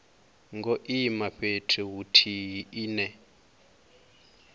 ngo ima fhethu huthihi ine